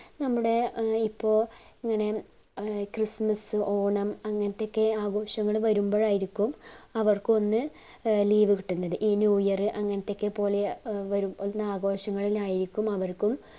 നമ്മുട ഏർ ഇപ്പൊ ഇങ്ങനെ ഇപ്പ ഏർ christmas ഓണം അങ്ങനത്തൊക്കെ ആഘോഷങ്ങൾ വെരുമ്പഴായിരിക്കും അവർക്കൊന്നു ഈ leave കിട്ടുന്നത് ഈ new year അങ്ങനത്തൊക്കെ പോലെ വരുന്ന ആഘോഷങ്ങളിലായിരിക്കും അവർക്കും